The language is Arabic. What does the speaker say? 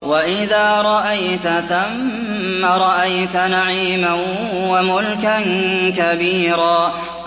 وَإِذَا رَأَيْتَ ثَمَّ رَأَيْتَ نَعِيمًا وَمُلْكًا كَبِيرًا